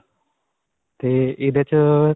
'ਤੇ ਇਹਦੇ 'ਚ.